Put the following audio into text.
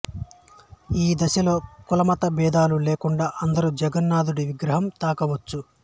ఈ దశలో కులమత భేదాలు లేకుండా అందరూ జగన్నాథుడి విగ్రహాన్ని తాకవచ్చు